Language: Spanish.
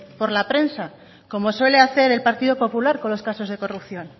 por la prensa como suele hacer el partido popular con los casos de corrupción